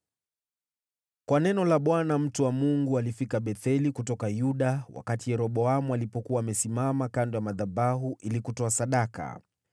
Kwa neno la Bwana , mtu wa Mungu alifika Betheli kutoka Yuda wakati Yeroboamu alipokuwa amesimama kando ya madhabahu ili kutoa sadaka.